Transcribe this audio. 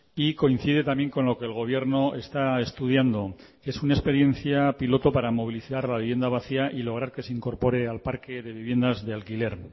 y coincide también con lo que el gobierno está estudiando es una experiencia piloto para movilizar la vivienda vacía y lograr que se incorpore al parque de viviendas de alquiler